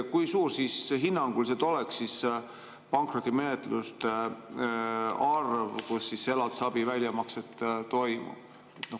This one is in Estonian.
Kui suur hinnanguliselt oleks pankrotimenetluste arv, mille puhul elatisabi väljamakse toimub?